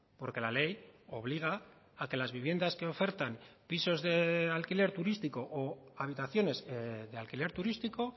porque la ley obliga a que las viviendas que ofertan pisos de alquiler turístico o habitaciones de alquiler turístico